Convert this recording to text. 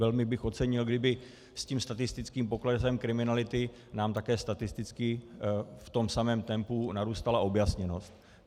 Velmi bych ocenil, kdyby s tím statistickým poklesem kriminality nám také statisticky v tom samém tempu narůstala objasněnost.